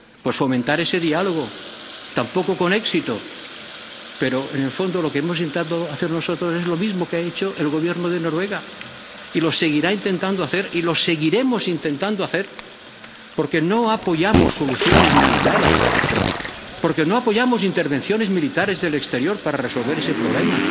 Pues fomentar ese diálogo, tampoco con éxito, pero en el fondo lo que hemos intentando hacer nosotros es lo mismo que ha hecho el Gobierno de Noruega, y lo seguirá intentando hacer y lo seguiremos intentando hacer, porque no apoyamos soluciones militares, porque no apoyamos intervenciones militares en el exterior para resolver ese problema,